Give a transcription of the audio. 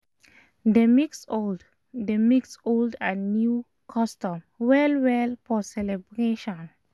dem mix old dem mix old and new custom well well for celebration